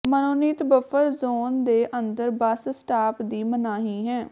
ਮਨੋਨੀਤ buffer zone ਦੇ ਅੰਦਰ bus stop ਦੀ ਮਨਾਹੀ ਹੈ